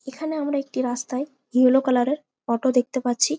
এখানে আমরা একটি রাস্তায় ইয়োলো কালার এর অটো দেখতে পাচ্ছি।